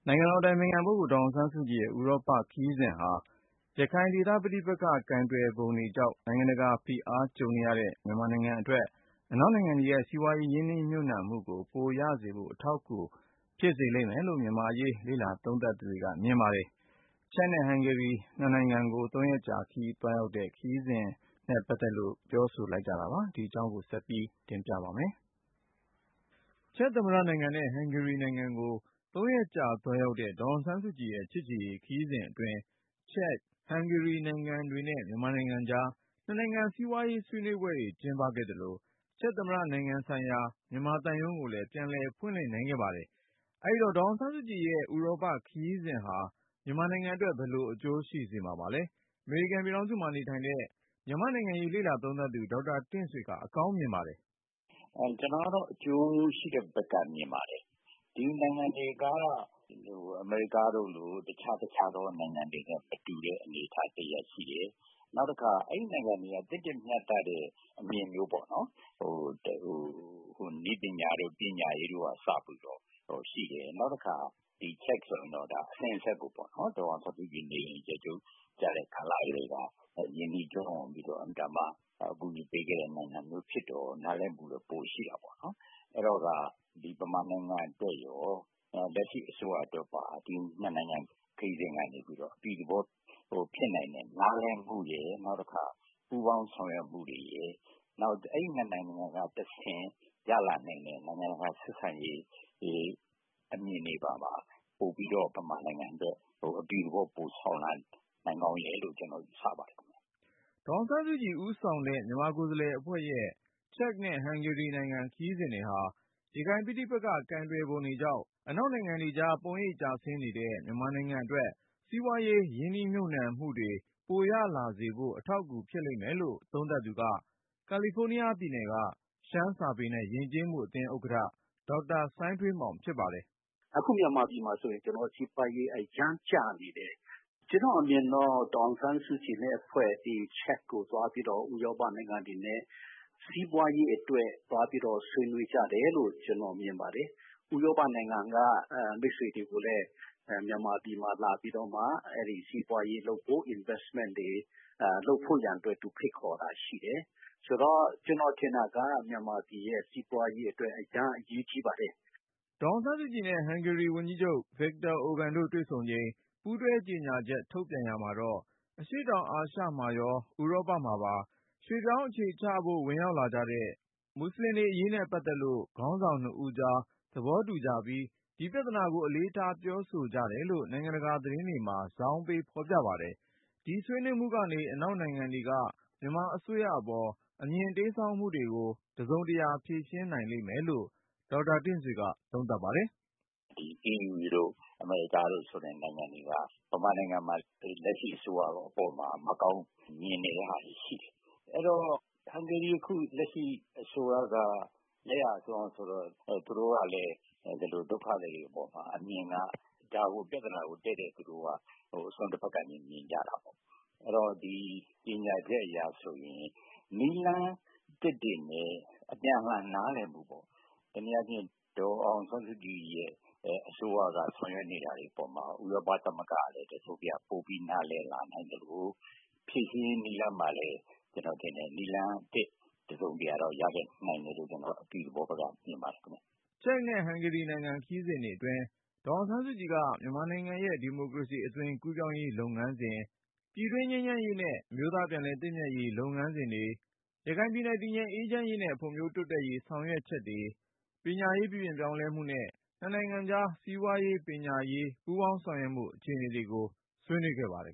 ိုင်ငံတော်အတိုင်ပင်ခံပုဂ္ဂိုလ် ဒေါ်အောင်ဆန်းစုကြည်ရဲ့ ဥရောပခရီးစဉ်ဟာ ရခိုင်ဒေသပဋိပက္ခ ကိုင်တွယ်ပုံတွေကြောင့် နိုင်ငံတကာဖိအား ကြုံနေတဲ့ မြန်မာနိုင်ငံအတွက် အနောက်နိုင်ငံတွေရဲ့စီးပွားရေး ရင်းနှီးမြှုပ်နှံမှု ပိုရစေဖို့ အထောက်အကူဖြစ်လိမ့်မယ်လို့ မြန်မာ့အရေး လေ့လာ သုံးသပ်သူတွေက မြင်ပါတယ်။ ချက်သမ္မတနိုင်ငံနဲ့ ဟန်ဂေရီ နိုင်ငံတွေကို ၃ရက်ကြာ ဒေါ်အောင်ဆန်းစုကြည် သွားရောက်ခဲ့တဲ့ ခရီးစဉ်နဲ့ ပတ်သက်လို့ အခုလို ပြောဆိုလိုက်ကြတာပါ။ ဒီအကြောင်း ကိုဉာဏ်ဝင်းအောင်က တင်ပြထားပါတယ်။ ချက်သမ္မတနိုင်ငံနဲ့ ဟန်ဂေရီနိုင်ငံကို ၃ရက်ကြာသွားရောက်တဲ့ ဒေါ်အောင်ဆန်းစုကြည်ရဲ့ ချစ်ကြည်ရေးခရီးစဉ်အတွင်း ချက်၊ ဟန်ဂေရီနိုင်ငံ တွေနဲ့မြန်မာနိုင်ငံကြား နှစ်နိုင်ငံ စီးပွားရေးဆွေးနွေးပွဲတွေ ကျင်းပခဲ့သလို၊ ချက်သမ္မတနိုင်ငံဆိုင်ရာ မြန်မာသံရုံးကိုလည်း ပြန်လည်ဖွင့်လှစ်နိုင် ခဲ့ပါတယ်။ အဲဒီတော့ ဒေါ်အောင်ဆန်းစုကြည်ရဲ့ ဥရောပခရီးစဉ်ဟာ မြန်မာနိုင်ငံအတွက် ဘယ်လိုအကျိုးရှိစေမှာပါလဲ။ အမေရိကန် ပြည်ထောင်စုမှာနေထိုင်တဲ့ မြန်မာ့နိုင်ငံရေး လေ့လာသုံးသပ်သူ ဒေါက်တာတင့်ဆွေက အကောင်းမြင်ပါတယ်။ “ ကျနော်ကတော့ အကျိုးရှိတဲ့ဘက်ကနေမြင်တယ်။ ဒီနိုင်ငံတွေက အမေရိကတို့လို့ တခြား တခြားသော နိုင်ငံတွေနဲ့ မတူတဲ့ အနေအထားတရပ်ရှိတယ်။ နောက်တခါ အဲဒီနိုင်ငံတွေက သင့်တင့်မျှတတဲ့ အနေအထားမျိုးပေါ့ နည်းပညာတို့၊ ပညာရေးတို့အစရှိတယ်။ နောက်တခါ ချက်ဆိုရင် အစဉ်အဆက်ကို ဒေါ်အောင်ဆန်းစုကြည်နေအိမ်အကျယ်ချုပ်ကျတဲ့ကာလကတည်းက ရင်းနှီးပြီးတော့ အကူအညီပေးခဲ့တဲ့ နိုင်ငံဖြစ်တော့ နားလည်မှုကတော့ ပိုရှိတာပေါ့နော်။ အဲဒီတော့ မြန်မာနိုင်ငံအတွက်ရော လက်ရှိအစိုးရအတွက်ပါ ဒီ နှစ်နိုင်ငံခရီးစဉ်ကနေပြီးတော့ အပြုသဘောဖြစ်နိုင်တယ်။ နားလည်မှု၊ နောက်တခါ ပူးပေါင်းဆောင်ရွက်မှုရယ် အဲဒီ ၂ နိုင်ငံကတဆင့် ရလာနိုင်တဲ့ နိုင်ငံတကာဆက်ဆံရေးအမြင်တွေပါ ပိုပြီးတော့ မြန်မာနိုင်ငံအတွက် အပြုသဘောပိုဆောင်လာနိုင်တယ်လို့ ကျနော်ယူဆပါတယ်ခင်ဗျ။” ဒေါ်အောင်ဆန်းစုကြည် ဦးဆောင်တဲ့ မြန်မာကိုယ်စားလှယ်အဖွဲ့ရဲ့ ချက်နဲ့ဟန်ဂေရီနိုင်ငံ ခရီးစဉ်တွေဟာ ရခိုင်ပဋိပက္ခ ကိုင်တွယ်ပုံတွေကြောင့် အနောက်နိုင်ငံတွေကြား ပုံရိပ်ကျဆင်းနေတဲ့ မြန်မာနိုင်ငံအတွက် စီးပွားရေးရင်းနှီးမြှုပ်နှံမှုတွေ ပိုရလာစေဖို့ အထောက်အကူဖြစ်လိမ့်မယ်လို့ သုံးသပ်သူက ကာလီဖိုးနီးယားပြည်နယ်က ရှမ်းစာပေနဲ့ယဉ်ကျေးမှုအသင်း ဥက္ကဌ ဒေါက်တာ စိုင်းထွေးမောင်ဖြစ်ပါတယ်။ “အခုမြန်မာပြည်မှာဆိုရင် ကျနော်တို့ စီးပွားရေး အရမ်းကျနေတယ် ကျနော့်အမြင်တော့ ဒေါ်အောင်ဆန်းစုကြည်နဲ့ အဖွဲ့ ချက်ကိုသွားပြီးတော့ ဥရောပနိုင်ငံတွေနဲ့ စီးပွားရေးအတွက် သွားပြီးဆွေးနွေးတယ်လို့ ကျနော်မြင်တယ်။ ဥရောပနိုင်ငံက မိတ်ဆွေတွေကိုလည်း မြန်မာပြည်မှာလာရောက်ပြီးတော့ စီးပွားရေးလုပ်ဖို့ Investment တွေလုပ်ဖို့ရန် သူက ဖိတ်ခေါ်တာရှိတယ်။ ဆိုတော့ မြန်မာပြည်ရဲ့ စီးပွားရေးအတွက် အရမ်းအရေးကြီးပါတယ်။” ဒေါ်အောင်ဆန်းစုကြည်နဲ့ ဟန်ဂေရီဝန်ကြီးချုပ် Viktor Orban တို့တွေ့ဆုံချိန် ပူးတွဲကြေညာချက် ထုတ်ပြန်ရာမှာတော့ အရှေ့တောင်အာရှ မှာရော ဥရောပမှာပါ ရွှေ့ပြောင်းအခြေချသူတွေ ဝင်ရောက်လာကြတဲ့ မူဆလင်တွေအရေးနဲ့ပတ်သက်လို့ ခေါင်းဆောင်နှစ်ဦးကြား သဘောတူ ကြပြီး ဒီပြဿနာကို အလေးထားပြောဆိုကြတယ်လို့ နိုင်ငံတကာသတင်းတွေမှာ ဇောင်းပေးဖေါ်ပြပါတယ်။ ဒီဆွေးနွေးမှုကနေ အနောက်နိုင်ငံ တွေက မြန်မာအစိုးရအပေါ် အမြင်တိမ်းစောင်းမှုကို တစုံတရာဖြေရှင်းနိုင်လိမ့်မယ်လို့ ဒေါက်တာတင့်ဆွေက သုံးသပ်ပါတယ်။ “EU တို့ အမေရိကန်တို့ နိုင်ငံတွေဟာ မြန်မာနိုင်ငံမှာ လက်ရှိအစိုးရအပေါ်မှာ မကောင်း မြင်တာတွေရှိတယ်။ ဟန်ဂေရီအခု လက်ရှိအစိုးရက လက်ယာစွန်းဆိုတော့ သူတို့ကလည်း ဒုက္ခသည်တွေအပေါ်မှာ အမြင်က ဒါကို ပြဿနာကို တည့်တည့်သူတို့ အစွန်းတဖက်ကနေမြင်ကြတယ်။ အဲဒီတော့ ဒီကြေညာချက်အရဆိုရင် နည်းလမ်း သစ်တွေနဲ့ အပြန်အလှန်နားလည်မှုပေါ့ တနည်းအားဖြင့် ဒေါ်အောင်ဆန်းစုကြညအစိုးရက ဆောင်ရွက်နေတဲ့အပေါ်မှာ ဥရောပသမဂ္ဂ ကလည်း ပိုပြီးနားလည်နိုင်လာသလို ဖြေရှင်းရေးနည်းလမ်းမှာလည်း နည်းလမ်းသစ် တစုံတရာတော့ ရခဲ့နိုင်မယ်လို့ ကျနော်အပြုသဘောဘက်က မြင်ပါတယ်ခင်ဗျ။” ချက်နဲ့ဟန်ဂေရီနိုင်ငံ ခရီးစဉ်အတွင်း ဒေါ်အောင်ဆန်းစုကြည်က မြန်မာနိုင်ငံရဲ့ ဒီမိုကရေစီအသွင် ကူးပြောင်းရေး လုပ်ငန်းစဉ်၊ ပြည်တွင်းငြိမ်းချမ်းရေးနဲ့ အမျိုးသား ပြန်လည်သင့်မြတ်ရေး လုပ်ငန်းစဉ်တွေ၊ ရခိုင်ပြည်နယ် တည်ငြိမ်အေးချမ်း ရေးနဲ့ ဖွံ့ဖြိုးတိုးတက်ရေး ဆောင်ရွက်ချက်တွေ၊ ပညာရေးပြုပြင်ပြောင်းလဲမှုနဲ့ နှစ်နိုင်ငံကြား စီးပွားရေး၊ ပညာရေး ပူးပေါင်းဆောင်ရွက်မှု အခြေအနေတွေကို ဆွေးနွေးခဲ့ကြပါတယ်